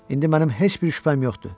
İndi mənim heç bir şübhəm yoxdur.